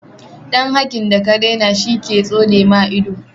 dan hakin daka raina shi ke tsonema ido